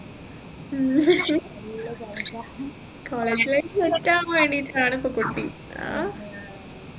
ഉം college life കിട്ടാൻ വേണ്ടിയിട്ടാണ് ഇപ്പൊ കൊതി